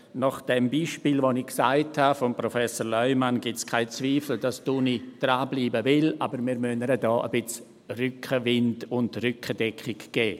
Nach dem Beispiel, das ich genannt habe, von Professor Leumann, gibt es keine Zweifel, dass die Uni dranbleiben will, aber wir müssen ihr hier ein bisschen Rückenwind und Rückendeckung geben.